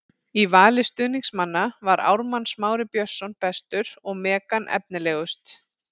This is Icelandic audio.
Í vali stuðningsmanna var Ármann Smári Björnsson bestur og Megan efnilegust.